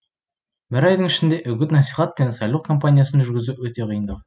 бір айдың ішінде үгіт насихат пен сайлау кампаниясын жүргізу өте қиындау